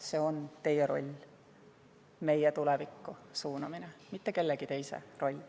See on teie roll – meie tulevikku suunamine –, mitte kellegi teise roll.